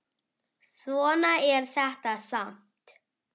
Svona er þetta samt.